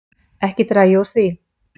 Ekki dreg ég úr því.